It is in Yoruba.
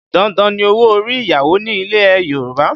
Dandan ni owó orí ìyàwó ní ilẹ̀ Yorùbá